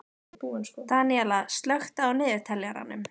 Daníella, slökktu á niðurteljaranum.